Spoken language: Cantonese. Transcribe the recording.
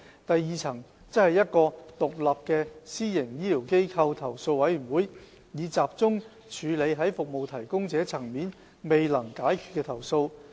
第二層則為一個獨立的私營醫療機構投訴委員會，以集中處理在服務提供者層面未能解決的投訴。